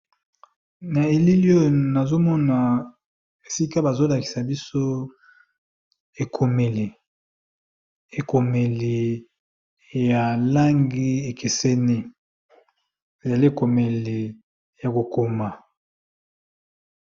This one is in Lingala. na elilio nazomona esika bazolakisa biso ekomeli ekomeli ya langi ekeseni ezala ekomeli ya kokoma